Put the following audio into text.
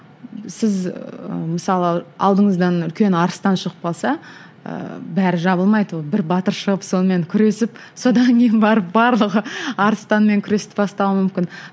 сіз ііі мысалы алдыңыздан үлкен арыстан шығып қалса ы бәрі жабылмайды ол бір батыр шығып сонымен күресіп содан кейін барып барлығы арыстанмен күресті бастауы мүмкін